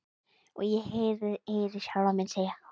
Og ég heyri sjálfa mig segja: